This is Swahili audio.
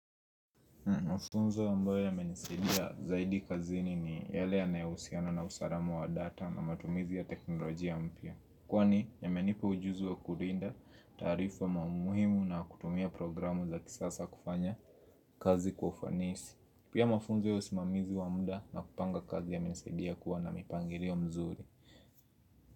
Mafunzo ambayo yamenisidia zaidi kazini ni yale yanayohusiana na usalama wa data na matumizi ya teknolojia mpya Kwani yamenipa ujuzi wa kulinda taarifa muhimu na kutumia programu za kisasa kufanya kazi kwa ufanisi Pia mafunzo ya usimamizi wa muda nakupanga kazi yamenisaidia kuwa na mipangilio mzuri.